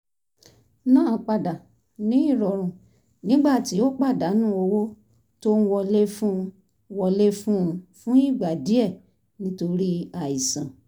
náà padà ní ìrọ̀rùn nígbà tí ó pàdánù owó tó ń wọlé fún un wọlé fún un fúngbà díẹ̀ nítorí àìsàn